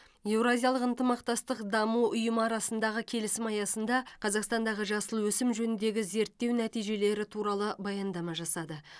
еуразиялық ынтымақтастық даму ұйымы арасындағы келісім аясында қазақстандағы жасыл өсім жөніндегі зерттеу нәтижелері туралы баяндама жасады